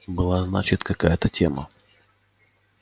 была значит какая-то тема